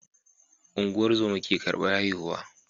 Ungozama ke karbar haihu